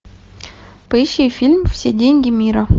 поищи фильм все деньги мира